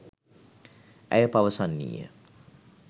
ඇය පවසන්නීය